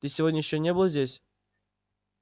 ты сегодня ещё не был здесь